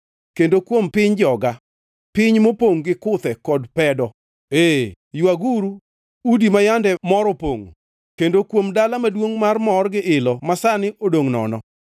kendo kuom piny joga, piny mopongʼ gi kuthe kod pedo, ee, ywaguru udi ma yande mor opongʼo kendo kuom dala maduongʼ mar mor gi ilo masani odongʼ nono.